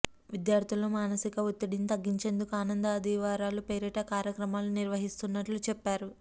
విద్యార్థుల్లో మాసనిక ఒత్తిడిని తగ్గిచేందుకు ఆనంద ఆదివారాల పేరిట కార్యక్రమాలు నిర్వహిస్తున్నట్లు చెప్పారు